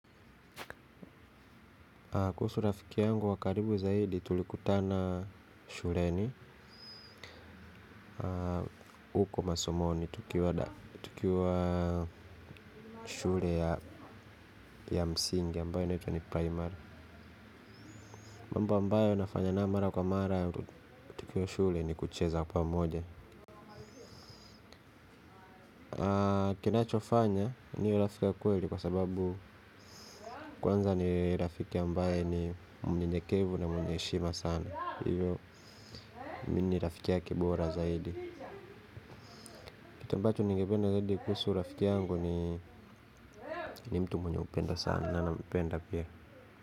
Kuhusu rafiki yangu wa karibu zaidi tulikutana shuleni. Huko masomoni tukiwa shule ya msingi ambayo inaitwa ni primary. Mambo ambayo nafanya naye mara kwa mara tukiwa shule ni kucheza pamoja. Kinachofanya ni rafiki wa kweli kwa sababu kwanza ni rafiki ambaye ni mnyenyekevu na mwenye heshima sana. Hivyo mimi rafiki yake bora zaidi kitu ambacho ningependa zadi kuhusu rafiki yangu ni ni mtu mwenye kupenda sana na nampenda pia.